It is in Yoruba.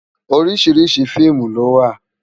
Óriṣiriṣi fiimú lòwá